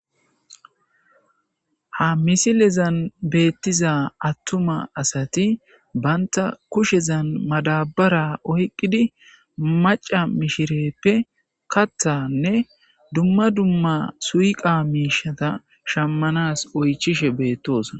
ha misilezan beettiza attuma asati banta kushezan madabara oyqqidi maca mishireppe kathanne dumma dumma suyqa miishata shammanas oychishe beettosona